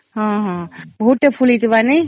ହଁ ହଁ ହଁ ବହୁତ ତେ ଫୁଲ ହେଇଥିବା ନାଇଁ